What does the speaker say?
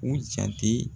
U jate